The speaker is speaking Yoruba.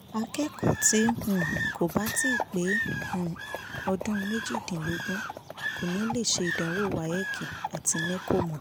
akẹ́kọ̀ọ́ tí um kò bá tíì pé um ọdún méjìdínlógún kò ní lè ṣe ìdánwò wafc àti nẹ́kọ́ mọ́